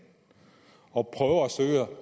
og prøver